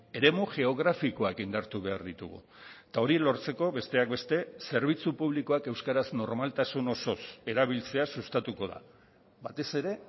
eremu geografikoak indartu behar ditugu eta hori lortzeko besteak beste zerbitzu publikoak euskaraz normaltasun osoz erabiltzea sustatuko da batez ere